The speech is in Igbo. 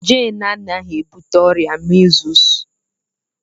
Jane anaghị ebute ọrịa measles.